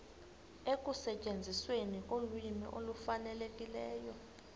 ekusetyenzisweni kolwimi olufanelekileyo